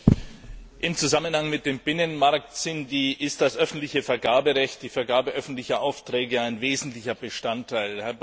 Herr Präsident! Im Zusammenhang mit dem Binnenmarkt ist das öffentliche Vergaberecht, die Vergabe öffentlicher Aufträge, ein wesentlicher Bestandteil.